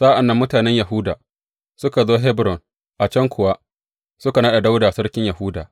Sa’an nan mutanen Yahuda suka zo Hebron, a can kuwa suka naɗa Dawuda sarkin Yahuda.